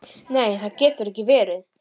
Þau eru henni þung.